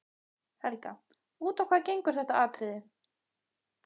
Helga: Út á hvað gengur þetta atriði?